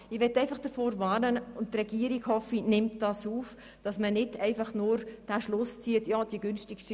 Ich möchte einfach davor warnen, dann den Schluss zu ziehen, man habe die günstigste Variante ja versucht und man könne es nun begraben.